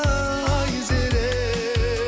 айзере